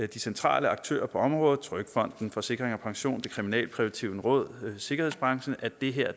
de centrale aktører på området trygfonden forsikring pension det kriminalpræventive råd og sikkerhedsbranchen at det her